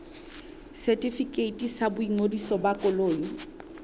setefikeiti sa boingodiso ba koloi